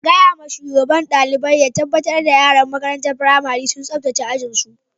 Gaya ma shugaban dalibain ya tabatar yaran makarantan firamarin sun sabtace ajin su.